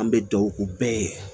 An bɛ duwawu bɛɛ ye